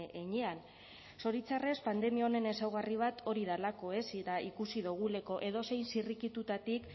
heinean zoritxarrez pandemia honen ezaugarri bat hori delako eta ikusi dugulako edozein zirrikitutatik